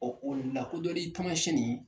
o lakodɔli taamasiyɛn ni